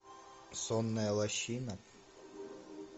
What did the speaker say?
сонная лощина